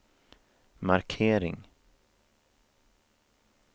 markering